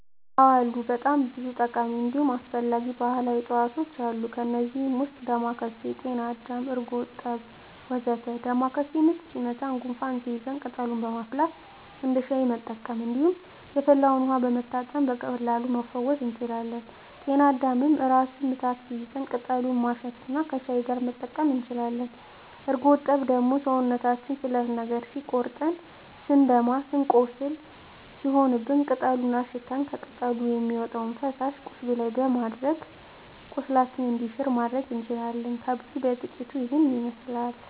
አዎ አሉ በጣም ብዙ ጠቃሚ እንዲሁም አስፈላጊ ባህላዊ እፅዋቶች አሉ። ከእነዚህም ውስጥ ዳማካሴ፣ ጤናአዳም፣ ጎርጠብ ወ.ዘ.ተ ዳማካሴ ምች ሲመታን ጉንፋን ሲይዘን ቅጠሉን በማፍላት እንደ ሻይ መጠቀም እንዲሁም የፈላውን ውሀ በመታጠን በቀላሉ መፈወስ እንችላለን። ጤና አዳምም ራስ ምታት ሲይዘን ቅጠሉን ማሽት እና ከሻይ ጋር መጠቀም እንችላለን። ጎርጠብ ደግሞ ሰውነታችንን ስለት ነገር ሲቆርጠን ስንደማ ቁስል ሲሆንብን ቅጠሉን አሽተን ከቅጠሉ የሚወጣውን ፈሳሽ ቁስሉ ላይ በማድረግ ቁስላችን እንዲሽር ማድረግ እንችላለን። ከብዙ በጥቂቱ ይሄንን ይመስላል።